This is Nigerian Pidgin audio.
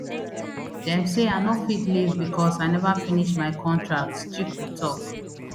dem say i no fit leave becos i neva finish my contract chiku tok